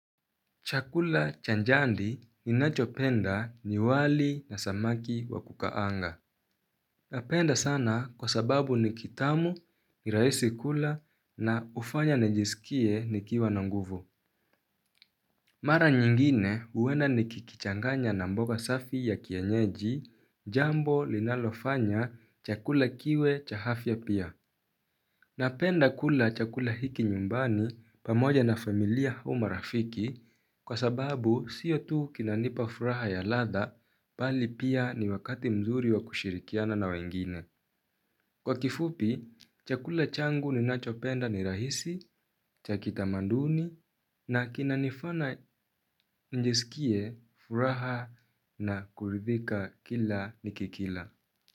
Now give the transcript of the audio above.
Chakula cha jadi ninachopenda ni wali na samaki wa kukaanga. Napenda sana kwa sababu ni kitamu, ni rahisi kula na hufanya nijisikie nikiwa na nguvu. Mara nyingine huenda nikikichanganya na mboga safi ya kienyeji jambo linalofanya chakula kiwe cha afya pia. Napenda kula chakula hiki nyumbani pamoja na familia au marafiki kwa sababu sio tu kinanipa furaha ya latha bali pia ni wakati mzuri wa kushirikiana na wengine. Kwa kifupi, chakula changu ninachopenda ni rahisi, cha kitamaduni na kinanifanya njisikie furaha na kuridhika kila nikikila.